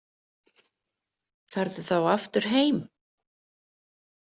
Ferðu þá aftur heim?